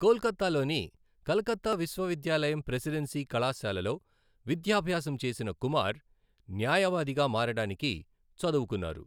కోల్కతాలోని కలకత్తా విశ్వవిద్యాలయం ప్రెసిడెన్సీ కళాశాలలో విద్యాభ్యాసం చేసిన కుమార్, న్యాయవాదిగా మారడానికి చదువుకున్నారు.